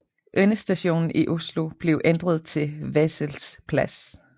Endestationen i Oslo blev ændret til Wessels plass